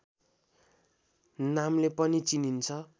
नामले पनि चिनिन्छ